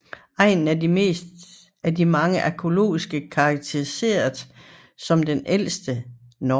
Egnen er af mange arkæologer karakteriseret som det ældste Norge